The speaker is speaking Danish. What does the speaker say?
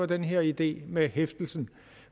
den her idé med hæftelsen